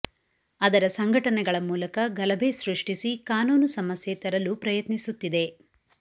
ಅದರ ಸಂಘಟನೆಗಳ ಮೂಲಕ ಗಲಭೆ ಸೃಷ್ಟಿಸಿ ಕಾನೂನು ಸಮಸ್ಯೆ ತರಲು ಪ್ರಯತ್ನಿಸುತ್ತಿದೆ